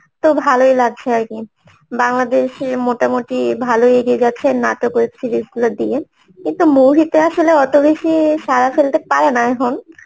তো ভালোই লাগছে আরকি বাংলাদেশে মোটামুটি ভালোই এগিয়ে যাচ্ছে নাটক, web series গুলো দিয়ে কিন্তু মৌরিতে আসলে অত বেশি সারা ফেলতে পারে না এখন